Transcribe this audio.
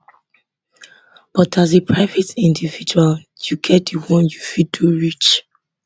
but as a private individual you get di one you fit do reach